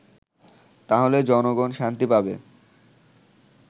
তাহলে জনগন শান্তি পাবে